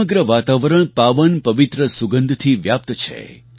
સમગ્ર વાતાવરણ પાવન પવિત્ર સુગંધથી વ્યાપ્ત છે